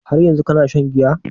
Har yanzun kana shan giya?